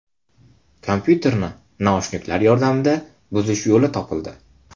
Kompyuterni naushniklar yordamida buzish yo‘li topildi.